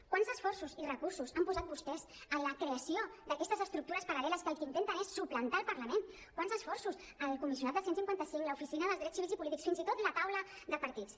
quants esforços i recursos han posat vostès en la creació d’aquestes estructures paral·leles que el que intenten és suplantar el parlament quants esforços el comissionat del cent i cinquanta cinc l’oficina dels drets civils i polítics fins i tot la taula de partits